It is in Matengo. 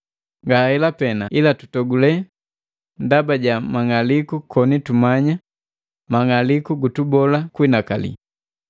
Ngahela pena, ila tutogule ndaba ja mang'aliku koni tumanya mang'aliku gutubola kuhinakali,